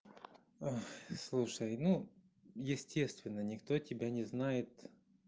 слушай ну естественно никто тебя не знает